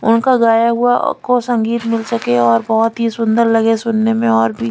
उनका गाया हुआ को संगीत मिल सके और बहोत ही सुंदर लगे सुन ने में और भी--